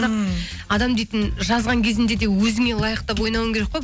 ммм адам дейтін жазған кезінде де өзіңе лайықтап ойнауың керек қой